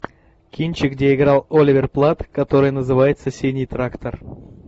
кинчик где играл оливер плат который называется синий трактор